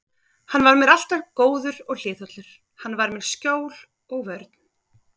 Hann var mér alltaf góður og hliðhollur, hann var mér skjól og vörn.